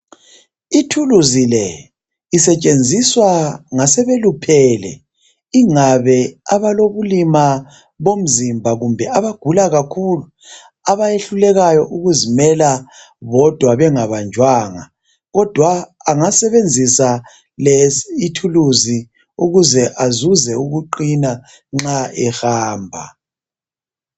Ithuluzi le isetshenziswa ngasebeluphele, ingabe abalobulima bomzimba kumbe abagula kakhulu abayehlulekayo ukuzimela bodwa bengabanjwanga, kodwa angasebenzisa lesi ithuluzi ukuze azuze ukuqina nxa ehamba.